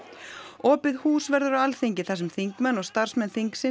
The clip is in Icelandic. opið hús verður á Alþingi þar sem þingmenn og starfsmenn þingsins